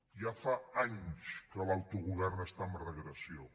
ja fa anys que l’autogovern està en regressió